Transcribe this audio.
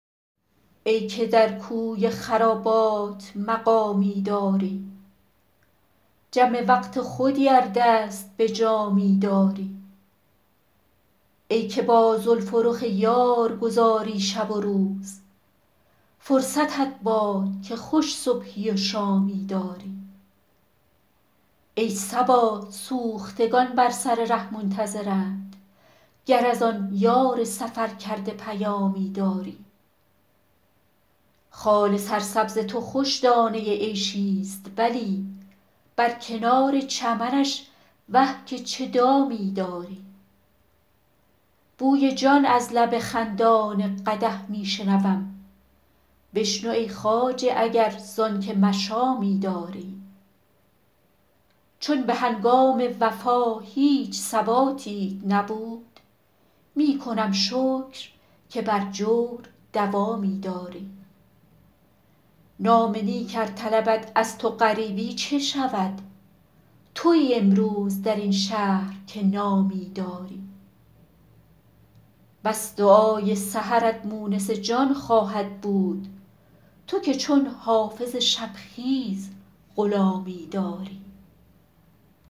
ای که در کوی خرابات مقامی داری جم وقت خودی ار دست به جامی داری ای که با زلف و رخ یار گذاری شب و روز فرصتت باد که خوش صبحی و شامی داری ای صبا سوختگان بر سر ره منتظرند گر از آن یار سفرکرده پیامی داری خال سرسبز تو خوش دانه عیشی ست ولی بر کنار چمنش وه که چه دامی داری بوی جان از لب خندان قدح می شنوم بشنو ای خواجه اگر زان که مشامی داری چون به هنگام وفا هیچ ثباتیت نبود می کنم شکر که بر جور دوامی داری نام نیک ار طلبد از تو غریبی چه شود تویی امروز در این شهر که نامی داری بس دعای سحرت مونس جان خواهد بود تو که چون حافظ شب خیز غلامی داری